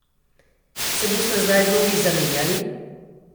Se bosta zdaj vlogi zamenjali?